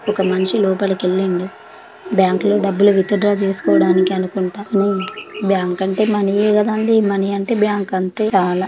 ఒక్క మనిషి లోపలికి ఎల్లిండు బ్యాంకు లో డబ్బులు విత్డ్ర చేసుకోవడానికి అనుకుంట బ్యాంకు అంటే మనీ కదా అండి మనీ అంటే బ్యాంకు అంతే గవల.